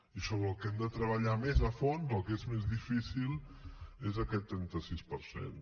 i sobre el que hem de treballar més a fons el que és més difícil és aquest trenta sis per cent